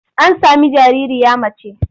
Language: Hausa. An sami jaririya mace.